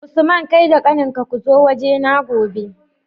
Usman kai da kanin ka kuzo waje na gobe